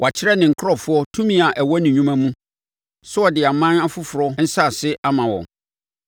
Wakyerɛ ne nkurɔfoɔ tumi a ɛwɔ ne nnwuma mu, sɛ ɔde aman afoforɔ nsase ama wɔn.